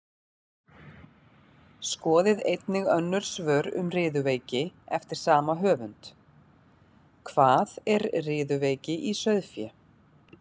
Skoðið einnig önnur svör um riðuveiki eftir sama höfund: Hvað er riðuveiki í sauðfé?